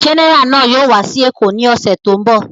Gẹ́nẹrà náà yóò wá sí Èkó ní ọ̀sẹ̀ tó ń bọ̀.